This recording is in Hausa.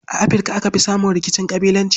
A Afirka aka fi samun rikicin ƙabilanci.